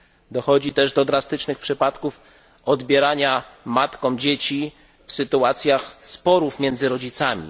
Dochodzi też do drastycznych przypadków odbierania matkom dzieci w sytuacjach sporów między rodzicami.